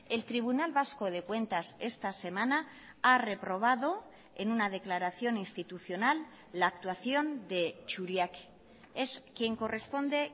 el tribunal vasco de cuentas esta semana ha reprobado en una declaración institucional la actuación de churiaque es quien corresponde